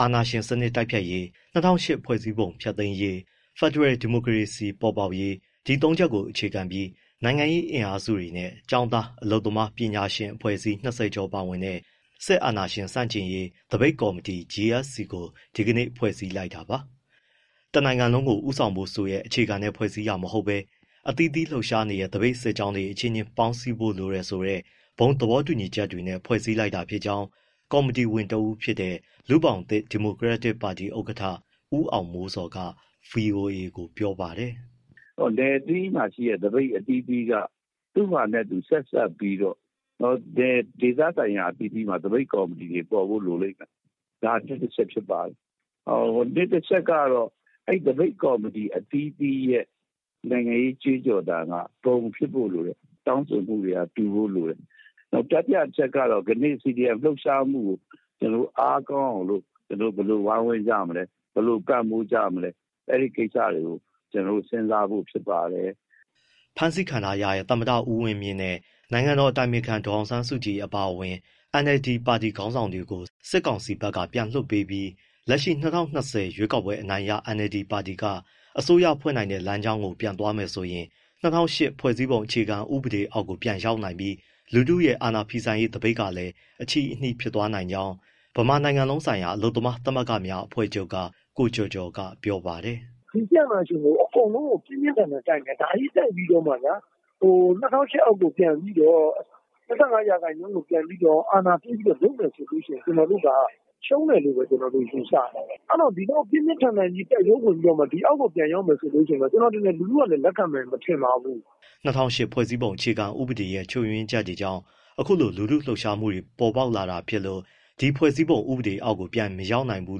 အာဏာရှင်စနစ်တိုက်ဖျက်ရေး၊ ၂၀၀၈ ဖွဲ့စည်းပုံ ဖျက်သိမ်းရေး၊ ဖက်ဒရယ် ဒီမိုကရေစီ ပေါ်ပေါက်ရေး ဒီသုံးချက်ကို အခြေခံပြီး နိုင်ငံရေးအင်အားစုတွေနဲ့ ကျောင်းသား၊ အလုပ်သမား၊ ပညာရှင်အဖွဲ့အစည်း ၂၀ ကျော်ပါဝင်တဲ့ စစ်အာဏာရှင်ဆန့်ကျင်ရေး သပိတ်ကော်မတီ GSC (General Strike Committee) ကို ဒီနေ့ ဖွဲ့စည်းလိုက်တာပါ။ တနိုင်ငံလုံးကို ဦးဆောင်ဖို့ဆိုတဲ့ အခြေခံနဲ့ ဖွဲ့စည်းတာမဟုတ်ဘဲ အသီးသီး လှုပ်ရှားနေတဲ့ သပိတ်စစ်ကြောင်းတွေ အချင်းချင်း ပေါင်းစည်းဖို့လိုတယ်ဆိုတဲ့ ဘုံသဘောတူညီချက်တွေနဲ့ ဖွဲ့စည်းလိုက်တာဖြစ်ကြောင်း ကော်မတီဝင်တဦးဖြစ်တဲ့ လူ့ဘောင်သစ် ဒီမိုကရက်တစ်ပါတီ ဥက္ကဋ္ဌ ဦးအောင်မိုးဇော်က ဗွီအိုအေကို ပြောပါတယ်။ “နယ်အသီးသီးမှာရှိတဲ့ သပိတ်အသီးသီးက သူ့ဟာသူ ဆက်စပ်ပြီးတော့ ဒေသဆိုင်ရာ အသီးသီးမှာ သပိတ်ကော်မတီတွေ ပေါ်ဖို့လိုလိမ့်မယ်၊ ဒါ ၁ အချက်။ ၂ အချက်ကတော့ သပိတ်ကော်မတီ အသီးသီးရဲ့ နိုင်ငံရေး ကြွေးကြော်သံက ဘုံဖြစ်ဖို့လိုတယ်၊ တောင်းဆိုမှုတွေက တူဖို့လိုတယ်။ နောက် တတိယ အချက်ကတော့ ကနေ့ CDM လှုပ်ရှားမှုကို ကျနော်တို့ အားကောင်းအောင်လို့ ဘယ်လိုဝိုင်းဝန်းကြမလဲ၊ ဘယ်လိုပံ့ပိုးကြမလဲ၊ အဲဒီကိစ္စတွေကို ကျနော်တို့ စဉ်းစားဖို့ ဖြစ်ပါတယ်။” ဖမ်းဆီးခံထားရတဲ့ သမ္မတဦးဝင်းမြင့်နဲ့ နိုင်ငံတော်အတိုင်ပင်ခံ ဒေါ်အောင်ဆန်းစုကြည် အပါအဝင် NLD ပါတီ ခေါင်းဆောင်တွေကို စစ်ကောင်စီဘက်က ပြန်လွှတ်ပြီး လက်ရှိ ၂၀၂၀ ရွေးကောက်ပွဲအနိုင်ရ NLD ပါတီက အစိုးရဖွဲ့တဲ့ လမ်းကြောင်းကို ပြန်သွားမယ်ဆိုရင် ၂၀၀၈ ဖွဲ့စည်းပုံ အခြေခံဥပဒေအောက်ကို ပြန်ရောက်နိုင်ပြီး လူထုရဲ့ အာဏာဖီဆန်ရေး သပိတ်ကလည်း အချည်းအနှီး ဖြစ်သွားနိုင်ကြောင်း ဗမာနိုင်ငံလုံးဆိုင်ရာ အလုပ်သမားသမဂ္ဂများ အဖွဲ့ချုပ်က ကိုကျော်ကျော်က ပြောပါတယ်။ “စစ်အာဏာရှင်ကို အကုန်လုံးက ပြင်းပြင်းထန်ထန် တိုက်နေတာ၊ ဒါကြီးတိုက်ပြီးတော့မှဗျာ ၂၀၀၈ အောက်ကို ပြန်ပြီးတော့၊ ၂၅ ရာခိုင်နှုန်းကို ပြန်ပြီးတော့ အာဏာပေးပြီး လုပ်မယ်ဆိုရင် ကျနော်တို့က ရှုံးမယ်လို့ပဲ ယူဆတယ်။ အဲဒီတော့ ဒီလောက် ပြင်းပြင်းထန်ထန် တိုက်ပွဲဝင်ပြီးတော့ ဒီအောက်ကို ပြန်ရောက်မယ်ဆိုရင် ကျနော်ထင်တယ် လူထုကလည်း လက်ခံမယ် မထင်ပါဘူး။” ၂၀၀၈ ဖွဲ့စည်းပုံအခြေခံဥပဒေရဲ့ ချွတ်ယွင်းချက်တွေကြောင့် အခုလို လူထုလှုပ်ရှားမှုတွေ ပေါ်ပေါက်လာတာဖြစ်လို့ ဒီဖွဲ့စည်းပုံဥပဒေအောက်ကို ပြန်မရောက်နိုင်ဘူး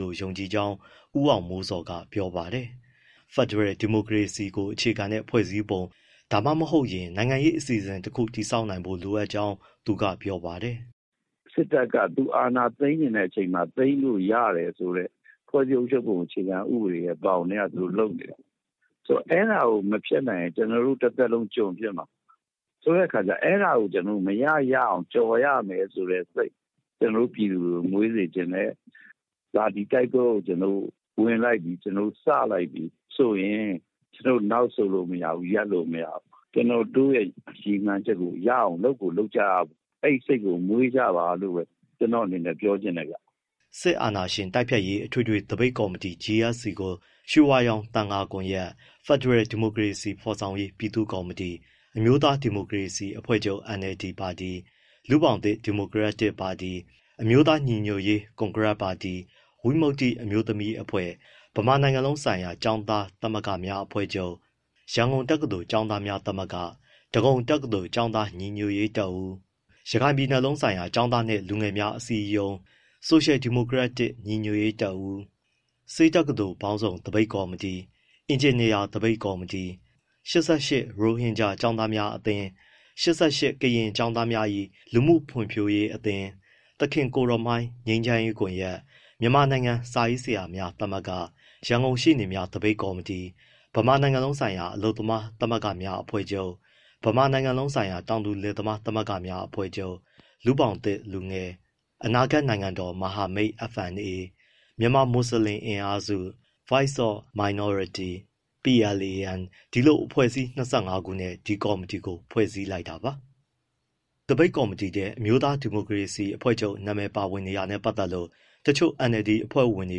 လို့ ယုံကြည်ကြောင်း ဦးအောင်မိုးဇော်က ပြောပါတယ်။ ဖက်ဒရယ်ဒီမိုကရေစီကို အခြေခံတဲ့ ဖွဲ့စည်းပုံတခု ဒါမှမဟုတ် နိုင်ငံရေး အစီအစဉ်တခု တည်ဆောက်နိုင်ဖို့လိုကြောင်း သူကပြောပါတယ်။ “စစ်တပ်က သူအာဏာသိမ်းချင်တဲ့အချိန်မှာ သိမ်းလို့ရတယ်ဆိုတဲ့ ဖွဲ့စည်းပုံဘောင်ထဲက သူတို့လုပ်နေတာ။ ဆိုတော့ အဲဒါကို မဖျက်နိုင်ရင် ကျနော်တို့ တသက်လုံး ကျွန်ဖြစ်မှာ။ ဆိုတော့ အဲဒါကို ကျနော်တို့ မရရအောင် ကျော်ရမယ်ဆိုတဲ့စိတ် ပြည်သူတွေကို မွေးစေချင်တယ်။ ဒါ ဒီတိုက်ပွဲကို ကျနော်တို့ ဝင်လိုက်ပြီ၊ စလိုက်ပြီဆိုရင် နောက်ဆုတ်လို့မရဘူး၊ ရပ်လို့မရဘူး၊ ကျနော်တို့ ရည်မှန်းချက်ကို ရအောင် လုပ်ကိုလုပ်ကြရမယ်။ အဲဒီစိတ်ကို မွေးကြပါလို့ ပြောချင်တယ်။” စစ်အာဏာရှင်တိုက်ဖျက်ရေး အထွေထွေသပိတ်ကော်မတီ GSC ကို ရွှေဝါရောင်သံဃာကွန်ရက်၊ ဖက်ဒရယ် ဒီမိုကရေစီ ဖော်ဆောင်ရေး ပြည်သူ့ကော်မတီ၊ အမျိုးသားဒီမိုကရေစီအဖွဲ့ချုပ် NLD၊ လူ့ဘောင်သစ် ဒီမိုကရက်တစ်ပါတီ၊ အမျိုးသားညီညွတ်ရေး ကွန်ဂရက်ပါတီ၊ ဝိမုတ္တိအမျိုးသမီးအဖွဲ့၊ ဗမာနိုင်ငံလုံးဆိုင်ရာ ကျောင်းသားသမဂ္ဂများ အဖွဲ့ချုပ်၊ ရန်ကုန်တက္ကသိုလ် ကျောင်းသားများသမဂ္ဂ၊ ဒဂုံတက္ကသိုလ် ကျောင်းသားညီညွတ်ရေးတပ်ဦး၊ ရခိုင်ပြည်လုံးဆိုင်ရာ ကျောင်းသားနှင့် လူငယ်များ အစည်းအရုံး၊ ဆိုရှယ်ဒီမိုကရက်တစ် ညီညွတ်ရေးတပ်ဦး၊ ဆေးတက္ကသိုလ်ပေါင်းစုံ သပိတ်ကော်မတီ၊ အင်ဂျင်နီယာ သပိတ်ကော်မတီ၊ ၈၈ ရိုဟင်ဂျာ ကျောင်းသားများအသင်း၊ ၈၈ ကရင်ကျောင်းသားများ၏ လူမှုဖွံ့ဖြိုးရေးအသင်း၊ သခင်ကိုယ်တော်မှိုင်း ငြိမ်းချမ်းရေးကွန်ရက်၊ မြန်မာနိုင်ငံ စာရေးဆရာများ သမဂ္ဂ၊ ရန်ကုန်ရှေ့နေများ သပိတ်ကော်မတီ၊ ဗမာနိုင်ငံလုံးဆိုင်ရာ အလုပ်သမားသမဂ္ဂများ အဖွဲ့ချုပ်၊ ဗမာနိုင်ငံလုံးဆိုင်ရာ တောင်သူလယ်သမား သမဂ္ဂများ အဖွဲ့ချုပ်၊ လူ့ဘောင်သစ်လူငယ်၊ အနာဂတ်နိုင်ငံတော် မဟာမိတ် FNA၊ မြန်မာမွတ်စလင် အင်အားစု၊ Voice of Minorities၊ PLAN ဒီလို အဖွဲ့အစည်း ၂၅ ခုနဲ့ ဒီကော်မတီကို ဖွဲ့စည်းလိုက်တာပါ။ ဒီသပိတ်ကော်မတီထဲ အမျိုးသားဒီမိုကရေစီအဖွဲ့ချုပ်အမည် ပါဝင်နေတာနဲ့ ပတ်သက်လို့ တချို့ NLD အဖွဲ့ဝင်တွေ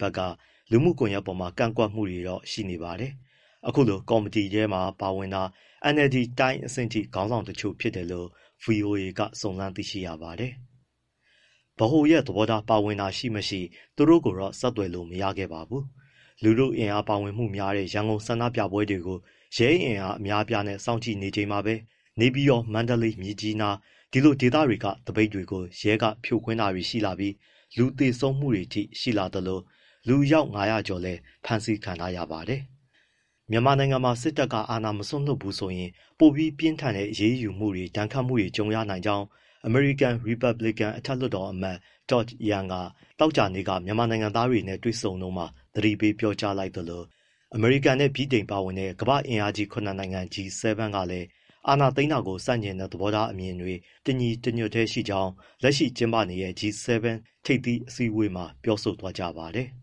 ဘက်က လူမှုကွန်ရက်တွေပေါ် ကန့်ကွက်မှုတွေတော့ ရှိနေပါတယ်။ အခုကော်မတီထဲမှာ ပါဝင်တာ NLD တိုင်းအဆင့်အထိ ခေါင်းဆောင်တချို့ ဖြစ်တယ်လို့ ဗွီအိုအေက စုံစမ်းသိရပါတယ်။ ဗဟိုသဘောထား ပါဝင်တာရှိမရှိ သူတို့ကိုတော့ ဆက်သွယ်မေးမြန်းလို့ မရခဲ့ပါဘူး။ လူထုအင်အား ပါဝင်မှုများတဲ့ ရန်ကုန်ဆန္ဒပြပွဲတွေကို ရဲအင်အား အများအပြားနဲ့ စောင့်ကြည့်နေချိန်မှာပဲ နေပြည်တော်၊ မန္တလေး၊ မြစ်ကြီးနား ဒီဒေသတွေက သပိတ်တွေကို ရဲက ဖြိုခွင်းတာတွေရှိလာပြီး လူသေဆုံးမှုတွေအထိ ရှိလာသလို လူအယောက် ၅၀၀ ကျော်လည်း ဖမ်းဆီးခံထားရပါတယ်။ မြန်မာနိုင်ငံမှာ စစ်တပ်က အာဏာမစွန့်လွှတ်ဘူးဆိုရင် ပိုပြီးပြင်းထန်တဲ့ အရေးယူမှုတွေ၊ ဒဏ်ခတ်မှုတွေ ကြုံရနိုင်ကြောင်း အမေရိကန် ရီပတ်ဘလစ်ကန် အထက်လွှတ်တော်အမတ် Todd Young က သောကြာနေ့က မြန်မာနိုင်ငံသားတွေနဲ့ တွေ့ဆုံတုန်းမှာ သတိပေး ပြောကြားလိုက်သလို အမေရိကန်နဲ့ ဗြိတိန်ပါဝင်တဲ့ ကမ္ဘာ့အင်အားကြီး ၇ နိုင်ငံ G-7 ကလည်း အာဏာသိမ်းတာကို ဆန့်ကျင်တဲ့ သဘောထားအမြင်တွေ တညီတညွတ်တည်းရှိကြောင်း လက်ရှိကျင်းပနေတဲ့ G-7 ထိပ်သီးအစည်းအဝေးမှာ ပြောဆိုသွားကြပါတယ်။